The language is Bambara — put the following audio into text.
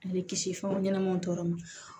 A bɛ kisi fɛn ɲɛnɛmaw tɔɔrɔ ma